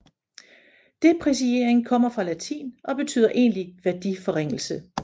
Depreciering kommer fra latin og betyder egentlig værdiforringelse